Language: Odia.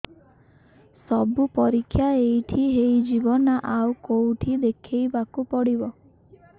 ସବୁ ପରୀକ୍ଷା ଏଇଠି ହେଇଯିବ ନା ଆଉ କଉଠି ଦେଖେଇ ବାକୁ ପଡ଼ିବ